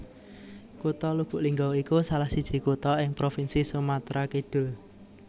Kutha Lubuklinggau iku salahsiji kutha ing provinsi Sumatra Kidul